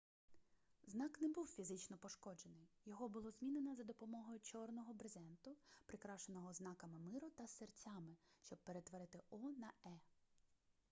знак не був фізично пошкоджений його було змінено за допомогою чорного брезенту прикрашеного знаками миру та серцями щоб перетворити о на е